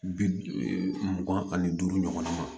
Bi mugan ani duuru ɲɔgɔn ma